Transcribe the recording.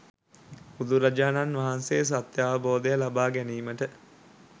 බුදුරජාණන් වහන්සේ සත්‍යාවබෝධය ලබා ගැනීමට